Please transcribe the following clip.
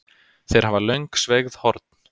Þeir hafa löng sveigð horn.